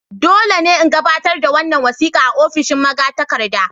Dole ne in gabatar da wannan wasika a ofishin magatakarda.